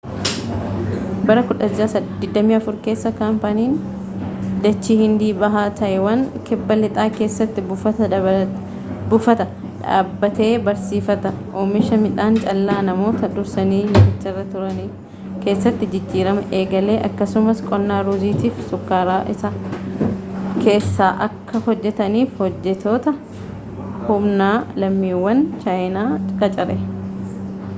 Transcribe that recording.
bara 1624 keessa kaampaniin daachii hindii bahaa taayiwaan kibba-lixaa keessatti buufata dhaabbatee barsiifata oomisha midhaan callaa namoota dursanii laficharra turanii keessatti jijjiirama eegalee akkasumas qonnaa ruuziitiifi shukkaaraa isaa keessaa akka hojjetaniif hojjettoota humnaa lammiiwwan chaayinaa qacare